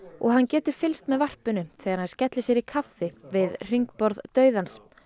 og hann getur fylgst með varpinu þegar hann skellir sér í kaffi við hringborð dauðans